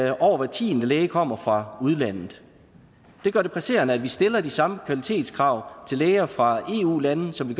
at over hver tiende læge kommer fra udlandet det gør det presserende at vi stiller de samme kvalitetskrav til læger fra eu lande som vi